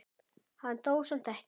Hann dó samt ekki.